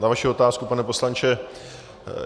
Na vaši otázku, pane poslanče.